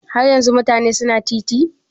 Har yanzun mutane su na titi?